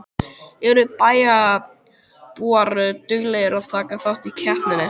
Eru bæjarbúar duglegir að taka þátt í keppninni?